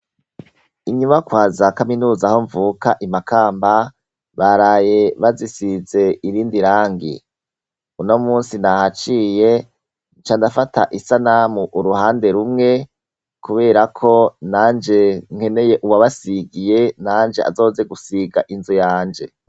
Inyubakwaza kaminuza aho mvuka I Makamba baraye bazisize irindi rangi uno munsi nahaciye ncandafata isanamu uruhande rumwe kubera ko nanje nkeneye uwabasigiye nanje azoze gusiga inzu yanje.